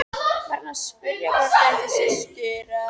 Var hann að spyrja hvort ég ætti systur?